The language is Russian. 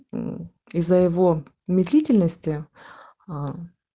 исаева медлительности